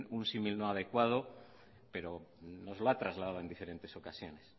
un símil no adecuado pero nos lo ha trasladado en diferentes ocasiones